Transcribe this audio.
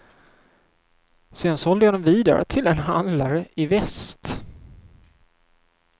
Sen sålde jag den vidare till en handlare i väst.